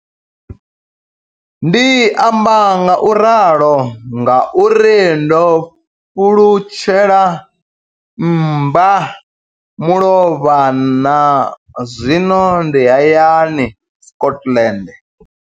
Ndi amba ngauralo nga uri ndo pfulutshela mmba mulovha na zwino ndi hayani, Scotland.